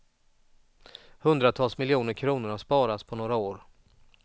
Hundratals miljoner kronor har sparats på några år.